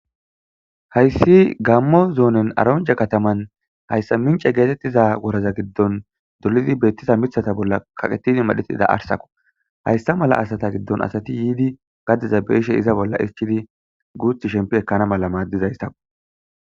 Hayssi gammo zoonen aronja kataman hayssa mince geetettiza woraza giddon dolidi beettiza mithata bolla kaqetidi madhetida arsakko hayssa mala asata giddon asati yiidi gaddiza beeshe iza bolla ischidi guuth shempi ekkana mala maaddizayssako.